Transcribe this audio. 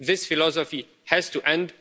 This philosophy has to end.